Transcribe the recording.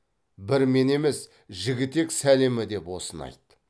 бір мен емес жігітек сәлемі деп осыны айт